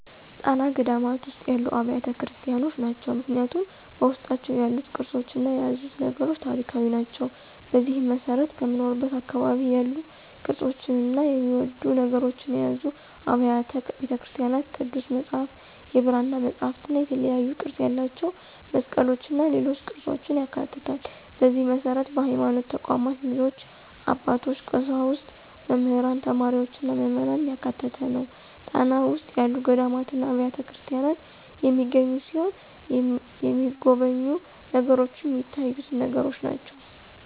ጣና ገዳማት ውስጥ ያሉ አብያተ ክርስቲያኖች ናቸው። ምክንያቱም በውስጣቸው ያሉት ቅርሶችና የያዙት ነገሮች ታሪካዊ ናቸው። በዚህም መሰረት ከምኖርበት አካባቢ ያሉ ቅርፆችና የሚወደዱ ነገሮችን የያዙ አብያተ ቤተክርስቲያኖች ቅዱስ መፅሐፍት፣ የብራና መፅሐፍትእና የተለያዩ ቅርፅ ያላቸው መስቀሎችና ሌሎች ቅርፆችን ያካትታል፣ በዚህ መሰረት በሀይማኖት ተቋማት ልጆች፣ አባቶች፣ ቀሳውስት፣ መምህራን፣ ተማሪዎችና ምዕመናን ያካተተ ነው። ጣና ውስጥ ያሉ ገዳማትና አብያተክርስቲያናት የሚገኙ ሲሆን የተሚጎበኙ ነገሮችንም ሚታዩትን ነገሮች ናቸው።